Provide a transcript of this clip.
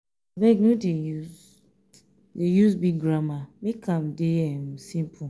abeg no dey use dey use big grammar make am dey um simple.